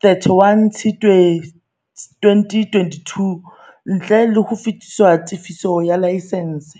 31 Tshitswe 2022, ntle le ho lefiswa tefiso ya laesense.